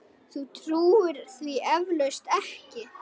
Þú trúir því eflaust ekki.